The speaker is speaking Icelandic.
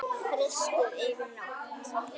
Frystið yfir nótt.